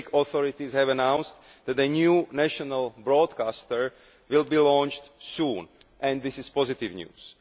The Greek authorities have announced that a new national broadcaster will be launched soon and this is positive news.